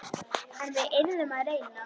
En við yrðum að reyna.